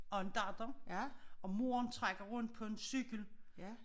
Og en datter og moren trækker rundt på en cykel